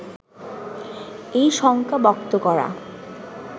এই শঙ্কা ব্যক্ত করা